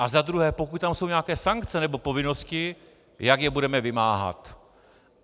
A za druhé, pokud tam jsou nějaké sankce nebo povinnosti, jak je budeme vymáhat.